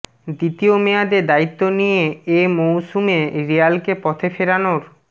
দ্বিতীয় মেয়াদে দায়িত্ব নিয়ে এ মৌসুমে রিয়ালকে পথে ফেরানোর